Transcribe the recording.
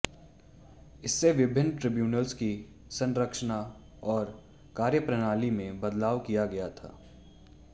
इससे विभिन्न ट्रिब्यूनल्स की संरचना और कार्यप्रणाली में बदलाव किया गया था